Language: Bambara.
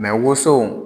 woso